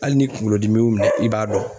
Hali ni kunkolo dimi y'u minɛn i b'a dɔn.